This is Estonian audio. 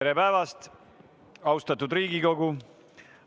Tere päevast, austatud Riigikogu!